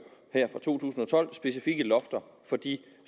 specifikke lofter på de